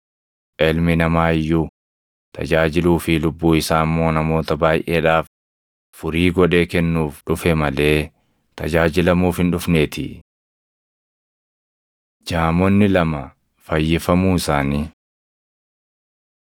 Ilmi Namaa iyyuu tajaajiluu fi lubbuu isaa immoo namoota baayʼeedhaaf furii godhee kennuuf dhufe malee tajaajilamuuf hin dhufneetii.” Jaamonni Lama Fayyifamuu Isaanii 20:29‑34 kwf – Mar 10:46‑52; Luq 18:35‑43